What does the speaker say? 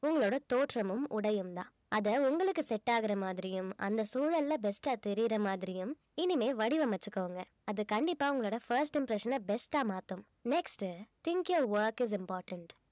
உங்களோட தோற்றமும் உடையும்தான் அத உங்களுக்கு set ஆகுற மாதிரியும் அந்த சூழல்ல best ஆ தெரியிற மாதிரியும் இனிமே வடிவமைச்சுக்கோங்க அது கண்டிப்பா உங்களோட first impression அ best ஆ மாத்தும் next உ think your work is important